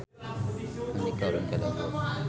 Andika ulin ka Dago